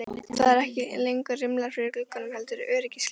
Það eru ekki lengur rimlar fyrir gluggunum heldur öryggisgler.